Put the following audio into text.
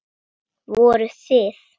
Voruð þið.